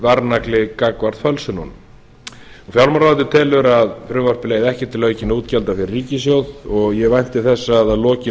varnagli gagnvart fölsunum fjármálaráðuneytið telur að frumvarpið leiði ekki til aukinna útgjalda hjá ríkissjóði og ég vænti þess að að lokinni umræðu